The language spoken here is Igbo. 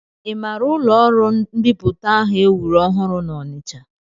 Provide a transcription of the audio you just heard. I maara ụlọọrụ mbipụta ahụ e wuru ọhụrụ n'Ọnịcha?